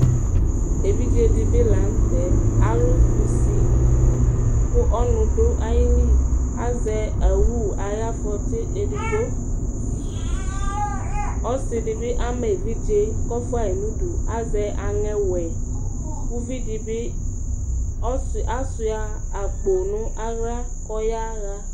evize dɩbɩ lanutɛ, alʊ kusi kʊ ɔnʊ dʊ ayili, azɛ owu ayʊ afɔti edigbo, ɔsi dɩ bɩ ama evidze kʊ ɔfua yi nʊdʊ azɛ aŋẽ wɛ, kʊ uvidi bɩ asuia akpo nʊ aɣla kʊ ɔyaɣa